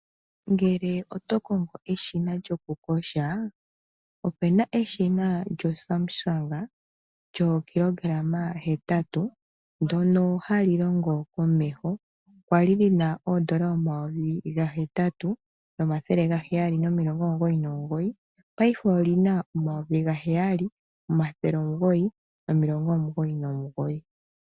Ngele oto kongo eshina lyoku kosha opuna eshina lyo SAMSUNG lyoo kilogarama 8, ndono ha li longo komeho, kwa li lyina N$ 8,799 paife oli na N$ 7.999.